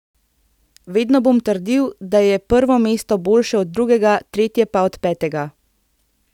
Vedno bom trdil, da je prvo mesto boljše od drugega, tretje pa od petega.